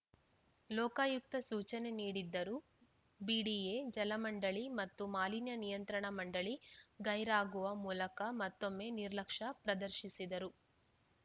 ಲೋಕಾಯುಕ್ತ ಸೂಚನೆ ನೀಡಿದ್ದರೂ ಬಿಡಿಎ ಜಲಮಂಡಳಿ ಮತ್ತು ಮಾಲಿನ್ಯ ನಿಯಂತ್ರಣ ಮಂಡಳಿ ಗೈರಾಗುವ ಮೂಲಕ ಮತ್ತೊಮ್ಮೆ ನಿರ್ಲಕ್ಷ್ಯ ಪ್ರದರ್ಶಿಸಿದರು